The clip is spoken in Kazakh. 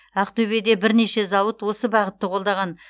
ақтөбеде бірнеше зауыт осы бағытты қолдаған